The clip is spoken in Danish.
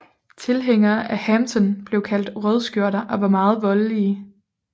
Tilhængerne af Hampton blev kaldt rødskjorter og var meget voldelige